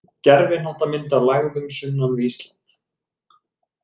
Gervihnattamynd af lægðum sunnan við Ísland.